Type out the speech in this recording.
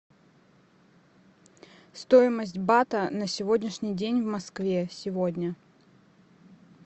стоимость бата на сегодняшний день в москве сегодня